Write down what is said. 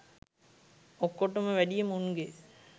ඔක්කොටම වැඩිය මුන්ගේ